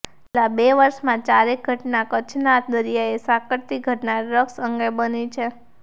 છેલ્લા બે વર્ષમાં ચારેક ઘટના કચ્છના દરીયાને સાંકળતી ઘટના ડ્રગ્સ અંગે બની છે